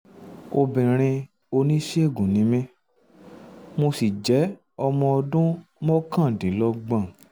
obìnrin oníṣègùn um ni mí um mo sì jẹ́ ọmọ ọdún mọ́kàndínlọ́gbọ̀n